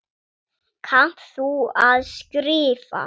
Kannt þú að skrifa?